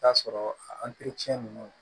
T'a sɔrɔ a nunnu